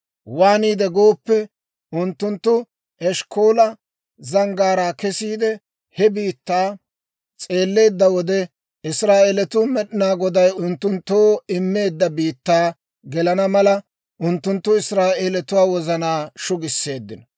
Waaniide gooppe, unttunttu Eshkkoola Zanggaaraa kesiide, he biittaa s'eelleedda wode, Israa'eelatuu Med'inaa Goday unttunttoo immeedda biittaa gelenna mala, unttunttu Israa'eelatuwaa wozanaa shugisseeddino.